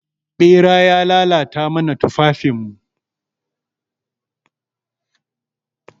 Ɓera ya lalata mana tufafin mu.